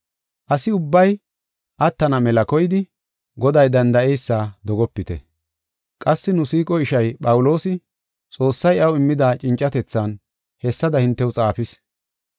Asi ubbay attana mela koyidi Goday danda7eysa dogopite. Qassi nu siiqo ishay, Phawuloosi, Xoossay iyaw immida cincatethan hessada hintew xaafis.